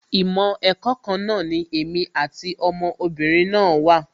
Ìmọ̀ ẹ̀kọ́ kan náà ni èmi àti ọmọ obìnrin náà wà